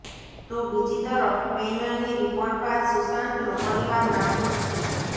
તો બીજી તરફ પૈનલની રિપોર્ટ બાદ સુશાંતનો પરિવાર નાખુશ છે